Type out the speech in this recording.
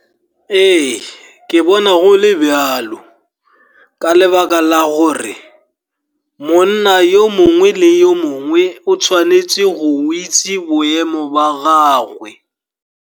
Ee, ke bona go le bjalo, ka lebaka la gore monna yo mongwe le yo mongwe o tshwanetse go itse boemo ba gagwe.